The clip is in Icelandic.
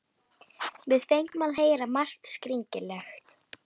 Við fengum að heyra margt skringilegt.